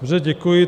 Dobře, děkuji.